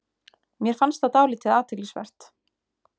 Mér fannst það dálítið athyglisvert